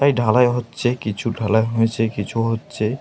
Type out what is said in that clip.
তাই ঢালাই হয়েছে । কিছু ঢালাই হয়েছে কিছু হচ্ছে।